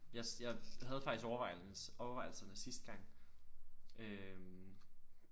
Jeg jeg havde faktisk overvejelse overvejelserne sidste gang øh